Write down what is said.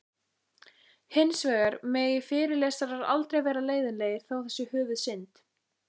Hins vegar megi fyrirlesarar aldrei vera leiðinlegir, það sé höfuðsynd.